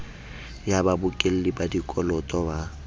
ya babokelli ba dikoloto ba